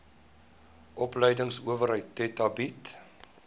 opleidingsowerheid theta bied